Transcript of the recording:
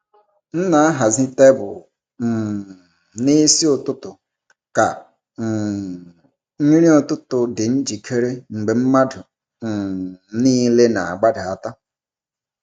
M na-ahazi tebụl um n’isi ụtụtụ ka um nri ụtụtụ dị njikere mgbe mmadụ um niile na-agbadata.